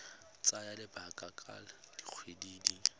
tsaya lebaka la dikgwedi di